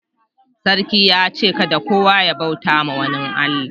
Sarki ya ce' kadda kowa ya bauta ma wani Allah.